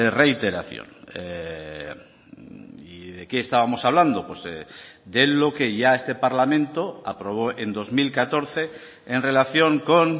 reiteración y de qué estábamos hablando de lo que ya este parlamento aprobó en dos mil catorce en relación con